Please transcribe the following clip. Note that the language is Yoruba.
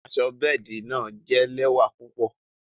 Àṣọ bẹẹdi náa jẹ̀ lẹwa púpọ̀.